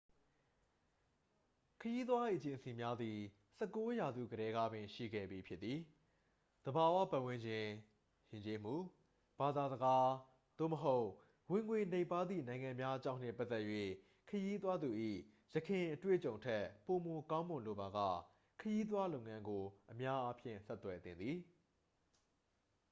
ခရီးသွားအေဂျင်စီများသည် 19 ရာစုကတည်းကပင် ရှိခဲ့ပြီးဖြစ်သည် သဘာဝပတ်ဝန်းကျင် ယဉ်ကျေးမှု ဘာသာစကား သို့မဟုတ် ဝင်ငွေနိမ့်ပါးသည့် နိုင်ငံများအကြောင်းနှင့် ပတ်သက်၍ ခရီးသွားသူ၏ ယခင်အတွေ့အကြုံထက် ပိုမိုကောင်းမွန်လိုပါက ခရီးသွားလုပ်ငန်းကို အများအားဖြင့် ဆက်သွယ်သင့်သည်